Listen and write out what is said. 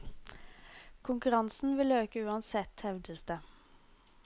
Konkurransen vil øke uansett, hevdes det.